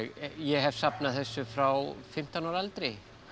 ég hef safnað þessu frá fimmtán ára aldri